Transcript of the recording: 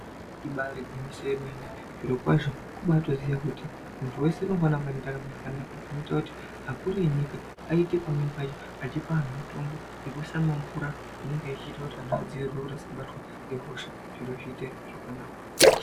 Ibari gwinyiso yemene zviro kwazvo kubatoziya kuti muntu wese unofane kunge nendaramo yakanaka zvinoita kuti akuru enyika aite pamweni pacho achipe anhu mutombo yekuiise mumamvura inenge ichiite kuti anhu adziirirwe kuti asabatwa ngehosha zviro zviite zvakanaka.